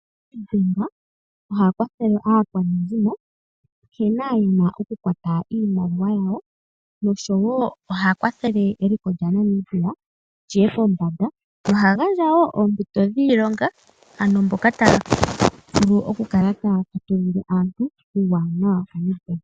Negonga oha kwathele aakwanezimo nkene ye na oku kwata nawa iimaliwa yawo nosho wo oha kwathele eliko lyaNamibia lyiye pombanda. Oha gandja woo oompito dhiilonga, ano mboka taya vulu oku kala ta ya fatululile aantu uuwanawa woNet-Bank.